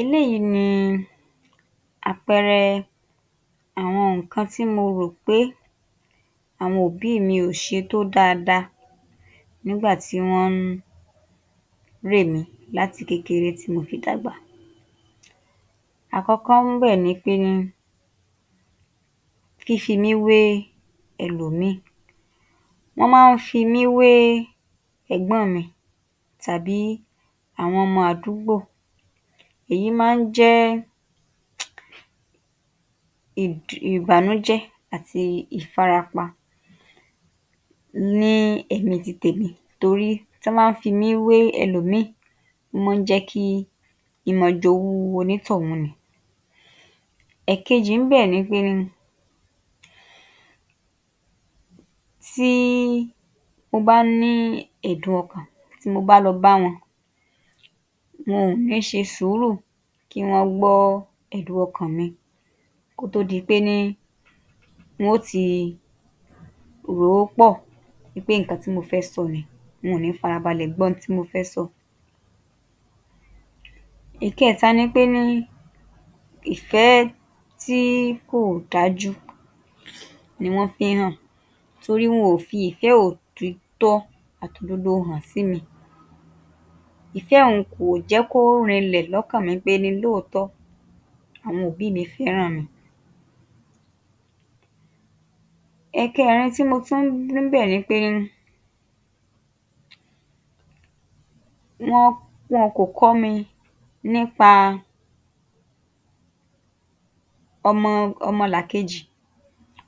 Eléyìí ni àpẹẹrẹ àwọn nǹkan tí mo rò pé àwọn òbí mi ò ṣe tó dáadáa nígbà tí wọ́n ń rè mí láti kékeré tí mo fi dàgbà. Àkọ́kọ́ ńbẹ̀ ni pé fífi mí wé ẹlòmíì. Wọ́n mọ́n ń fi mí wé ẹ̀gbọ́n mi tàbí àwọn ọmọ àdúgbò. Èyí máa ń jẹ́ um ìbànújẹ́ àti ìfarapa ní ẹ̀mí ti tèmi, t1orí tí wọ́n bá ń fi mí wé ẹlòmíì, ó mọ́n ń jẹ́ kí n máa jowú onítọ̀hún ni. Ẹ̀kejì ńbẹ̀ ni pé tí mo bá ní ẹ̀dùn-ọkàn, tí mo bá lọ bá wọn, wọn ò ní ṣe sùúrù kí wọ́n gbọ́ ẹ̀dùn-ọkàn mi kó tó di péní wọ́n ó ti rò ó pọ̀ wí pé nǹkan tí mo fẹ́ sọ nìí. Wọn ò ní farabalẹ̀ gbọ́ ohun tí mo fẹ́ sọ. Ìkẹẹ̀ta ni péní ìfẹ́ tí kò dájú ni wọ́n fi ń hàn, torí wọn ò fi ìfẹ́ òtítọ́ àtòdodo hàn sí mi. Ìfẹ́ un kò jẹ́ kó rinlẹ̀ lọ́kàn mi péní lóòótọ́, àwọn òbí mi fẹ́ràn mi. Ẹ̀kẹẹ̀rin tí mo tún rí ńbẹ̀ ni pé wọ́n, wọn kò kọ́ mi nípa ọmọ, ọmọlàkejì.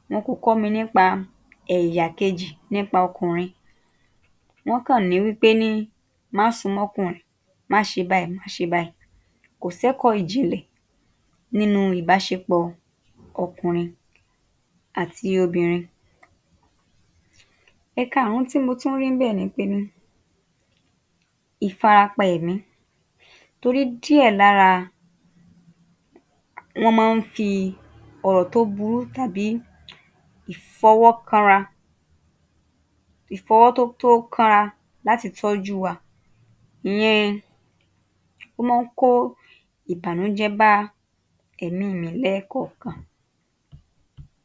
Wọn kò kọ́ mi nípa ẹ̀yà kejì nípa ọkùnrin. Wọ́n kàn ní wí péní má súnmọ́kùnrin, má ṣe báyìí, má ṣe báyìí. Kò sẹ́kọ́ ìjìnlẹ̀ nínú ìbáṣepọ̀ ọkùnrin àti obìnrin. Ẹ̀kaàrún tí mo tún rí ńbẹ̀ ni péní ìfarapa ẹ̀mí, torí díẹ̀ lára, wọ́n mọ́n ń fi ọ̀rọ̀ tó burú tàbí ìfọwọ́kanra, ìfọwọ́ tó tó kanra láti tọ́jú wa. Ìyẹn, ó mọ́n n kó ìbànújẹ́ bá ẹ̀mí mi lẹ́ẹ̀kọ̀ọ̀kan.